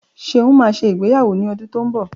Ṣeun máa ṣe ìgbéyàwó ní ọdún tí ó ń bọ̀